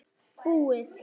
Búið!